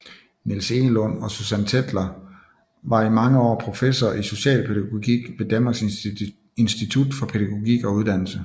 Niels Egelund og Susan Tetler var i mange år professorer i specialpædagogik ved Danmarks Institut for Pædagogik og Uddannelse